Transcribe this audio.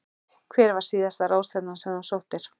Hver var síðasta ráðstefnan sem þú sóttir?